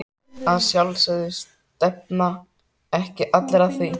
Að sjálfsögðu, stefna ekki allir að því?